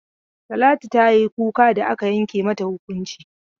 Talatu ta yi kuka da aka yanke mata hukunci.